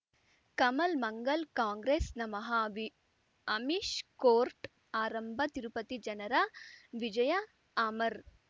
ಕಮಲ್ ಮಂಗಳ್ ಕಾಂಗ್ರೆಸ್ ನಮಃ ಅವಿ ಅಮಿಷ್ ಕೋರ್ಟ್ ಆರಂಭ ತಿರುಪತಿ ಜನರ ವಿಜಯ ಅಮರ್